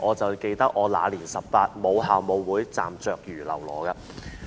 我記得我"那年十八，母校舞會，站着如嘍囉"。